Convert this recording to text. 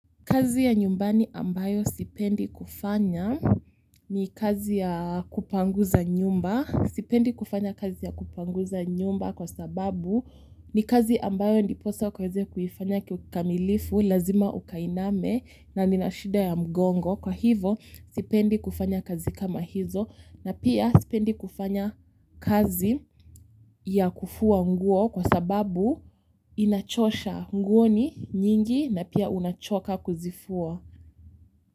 Kazi ya nyumbani ambayo sipendi kufanya ni kazi ya kupanguza nyumba. Sipendi kufanya kazi ya kupanguza nyumba kwa sababu ni kazi ambayo ndiposa ukaweze kuifanya kiukamilifu, lazima ukainame na nina shida ya mgongo. Kwa hivo sipendi kufanya kazi kama hizo na pia sipendi kufanya kazi ya kufua nguo kwa sababu inachosha nguo ni nyingi na pia unachoka kuzifua. Kwa hivyo.